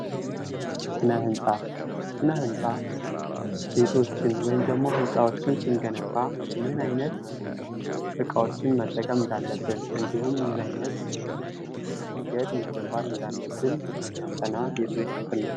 ስነ ህንጻ፦ ስነ ህንፃ ቤቶችን ወይም ደግሞ ህንፃዎችን ስንገነባ ምን አይነት እቃዎችን መጠቀም እንዳለብን እንዲሁም ምን አይነት መንገድ መጠቀም እንዳለብን የሚያጠና የትምህርት ክፍል ነው።